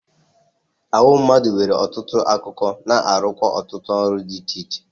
Ahụ mmadụ nwere ọtụtụ akụkụ na-arụkwa ọtụtụ ọrụ di iche iche.